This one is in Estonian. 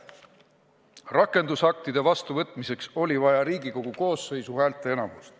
Rakendusaktide vastuvõtmiseks oli vaja Riigikogu koosseisu häälteenamust.